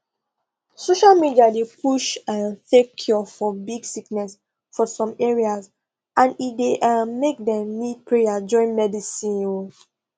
social media dey push um fake cure for big sickness for some areas and e dey um make dem need prayer join medicine um